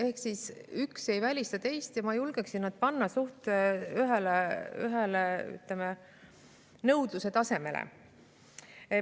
Ehk üks ei välista teist ja ma julgeksin nad panna suhteliselt ühele nõudluse tasemele.